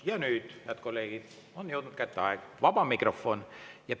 Ja nüüd, head kolleegid, on jõudnud kätte vaba mikrofoni aeg.